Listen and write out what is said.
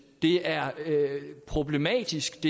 det er problematisk